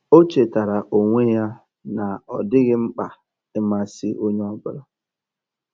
Ó chétárá ónwé yá nà ọ́ dị́ghị́ mkpà ị̀másị́ ónyé ọ́ bụ́là.